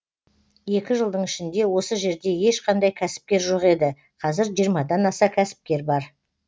екі жылдың ішінде осы жерде ешқандай кәсіпкер жоқ еді қазір жиырмадан аса кәсіпкер бар